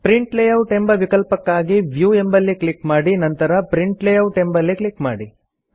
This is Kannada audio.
ಪ್ರಿಂಟ್ ಲೇಯೌಟ್ ಎಂಬ ವಿಕಲ್ಪಕ್ಕಾಗಿ ವ್ಯೂ ಎಂಬಲ್ಲಿ ಕ್ಲಿಕ್ ಮಾಡಿ ನಂತರ ಪ್ರಿಂಟ್ ಲೇಯೌಟ್ ಎಂಬಲ್ಲಿ ಕ್ಲಿಕ್ ಮಾಡಿ